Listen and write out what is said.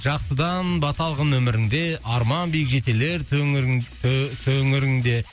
жақсыдан бата алғын өміріңде арман биік жетелер төңіріңде